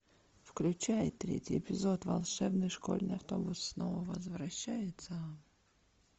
включай третий эпизод волшебный школьный автобус снова возвращается